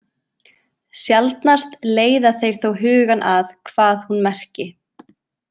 Sjaldnast leiða þeir þó hugann að hvað hún merki.